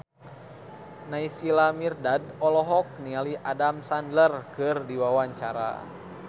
Naysila Mirdad olohok ningali Adam Sandler keur diwawancara